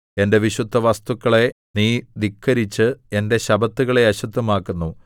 എന്റെ വിശുദ്ധവസ്തുക്കളെ നീ ധിക്കരിച്ച് എന്റെ ശബ്ബത്തുകളെ അശുദ്ധമാക്കുന്നു